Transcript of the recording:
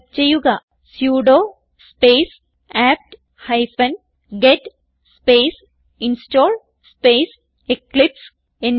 type ചെയ്യുക sudo space apt hyphen get space install space Eclipse